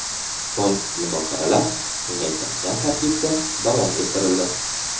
So‘ng muzokaralar kengaytirilgan tarkibda davom ettirildi .